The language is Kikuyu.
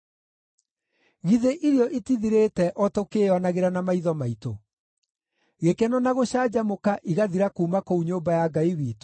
Githĩ irio itithirĩte o tũkĩĩonagĩra na maitho maitũ: gĩkeno na gũcanjamũka igathira kuuma kũu nyũmba ya Ngai witũ?